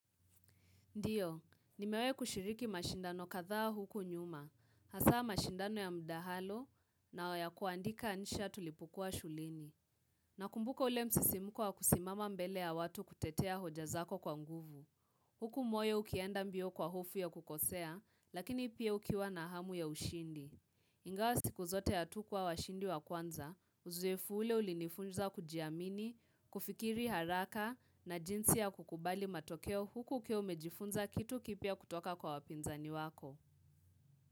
Ndiyo, nimewai kushiriki mashindano kadhaa huku nyuma, hasa mashindano ya mdahalo na ya kuandika insha tulipokuwa shuleni. Nakumbuko ule msisimuko wa kusimama mbele ya watu kutetea hoja zako kwa nguvu. Huku moyo ukienda mbio kwa hufo ya kukosea, lakini pia ukiwa na hamu ya ushindi. Ingawa siku zote hatukuwa washindi wa kwanza, uzoefu ule ulinifunza kujiamini, kufikiri haraka na jinsi ya kukubali matokeo huku ukiwa umejifunza kitu kipya kutoka kwa wapinzani wako.